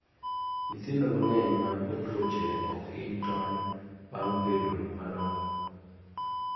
nyithindo mag'eny man kod tuoche ok hiny tony ba bed madongo